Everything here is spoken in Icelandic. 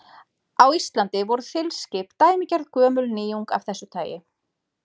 Á Íslandi voru þilskip dæmigerð gömul nýjung af þessu tagi.